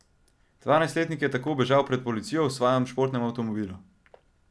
Dvajsetletnik je tako bežal pred policijo v svojem športnem avtomobilu.